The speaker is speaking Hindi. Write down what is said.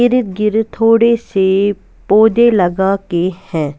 इर्द गिर्द थोड़े से पौधे लगा के हैं।